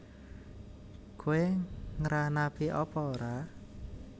Kowe ngranapi apa ora